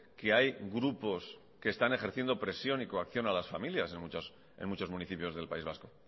que hay grupos que están ejerciendo presión y coacción a las familias en muchos municipios del país vasco